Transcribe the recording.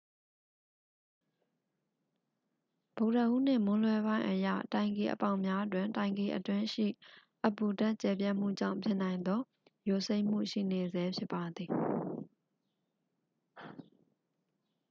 ဗုဒ္ဓဟူးနေ့ မွန်းလွဲပိုင်းအရ တိုင်ကီအပေါက်များတွင် တိုင်ကီအတွင်းရှိ အပူဓာတ် ကျယ်ပြန့်မှုကြောင့် ဖြစ်နိုင်သော ယိုစိမ့်မှု ရှိနေဆဲဖြစ်ပါသည်